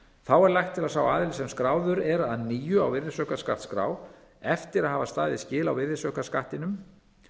þá er lagt til að sá aðili sem skráður er að nýju á virðisaukaskattsskrá eftir að hafa staðið skil á virðisaukaskattinum